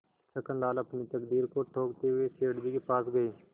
छक्कनलाल अपनी तकदीर को ठोंकते हुए सेठ जी के पास गये